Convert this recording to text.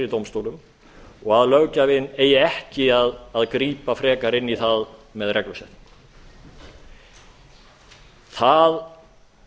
dómstólum og löggjafinn eigi ekki að grípa frekar inn í það með reglusetningu það